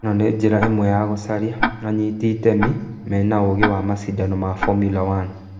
Īno nĩ njĩta ĩmwe ya gũcaria anyitĩ itemi mena ũũgĩ wa macindano ma Formula 1.